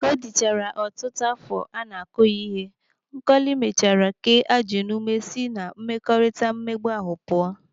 Ka o dịchara ọtụtụ afọ a na-akụ ya ihe, Nkọli mechara kee ajị n'ume si na mmekọrịta mmegbu ahụ pụọ.